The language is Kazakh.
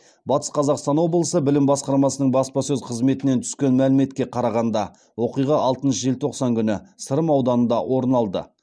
батыс қазақстан облысы білім басқармасының баспасөз қызметінен түскен мәліметке қарағанда оқиға алтыншы желтоқсан күні сырым ауданында орын алды